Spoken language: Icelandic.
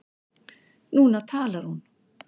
Núna talar hún.